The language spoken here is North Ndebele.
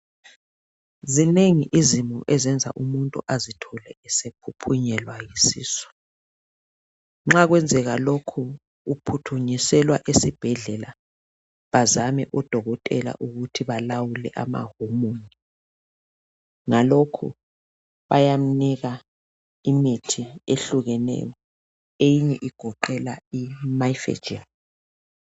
Zinengi izimo ezingenza umuntu azithole esephuphunyelwa yisisu, nxa kwenzeka lokhu uphuthunyiselwa esibhedlela bazame odokotela ukuthi balawule amahormone ngalokhu bayamnika imithi ehlukeneyo eminye igoqela imifegyn.